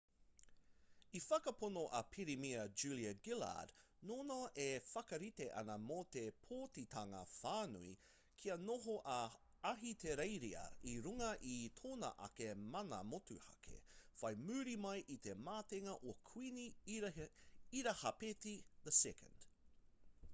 i whakapono a pirimia julia gillard nōnā e whakarite ana mō te pōtitanga whānui kia noho a ahitereiria i runga i tōna ake mana motuhake whai muri mai i te matenga o kuini irihāpeti ii